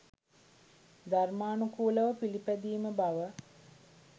ධර්මානුකූලව පිළිපැදීම බව